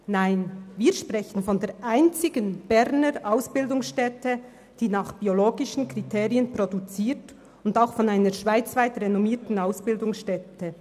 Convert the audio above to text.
Nein, wir sprechen von der einzigen Berner Ausbildungsstätte, die nach biologisch-dynamischen Kriterien produziert, und auch von einer schweizweit renommierten Ausbildungsstätte.